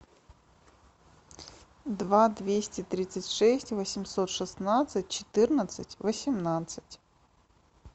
два двести тридцать шесть восемьсот шестнадцать четырнадцать восемнадцать